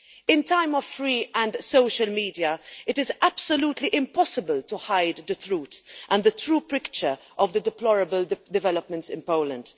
In a time of free and social media, it is absolutely impossible to hide the truth and the true picture of the deplorable developments in Poland.